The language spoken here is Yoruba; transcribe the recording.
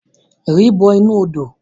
Ri bọ inu odo!